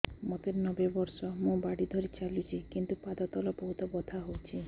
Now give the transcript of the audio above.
ମୋତେ ନବେ ବର୍ଷ ମୁ ବାଡ଼ି ଧରି ଚାଲୁଚି କିନ୍ତୁ ପାଦ ତଳ ବହୁତ ବଥା ହଉଛି